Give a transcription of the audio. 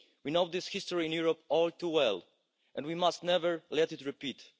We know this history in Europe all too well, and we must never let it repeat.